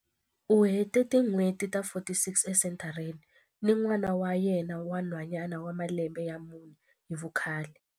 U hete tin'hweti ta 46 esenthareni ni n'wana wa yena wa nhwanyana wa malembe ya mune hi vukhale.